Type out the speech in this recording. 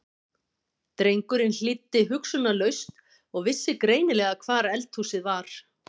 Drengurinn hlýddi hugsunarlaust og vissi greinilega hvar eldhúsið var.